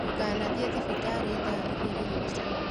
Ndũkanathiĩthibitarĩthaa ĩgĩrĩrücio.